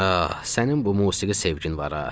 Ah, sənin bu musiqi sevgin var ha.